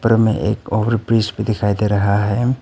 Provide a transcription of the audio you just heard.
उपर में एक ओवर ब्रिज भी दिखाई दे रहा है।